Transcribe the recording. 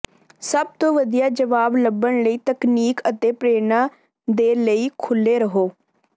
ਸਭ ਤੋਂ ਵਧੀਆ ਜਵਾਬ ਲੱਭਣ ਲਈ ਤਕਨੀਕ ਅਤੇ ਪ੍ਰੇਰਨਾ ਦੇ ਲਈ ਖੁੱਲੇ ਰਹੋ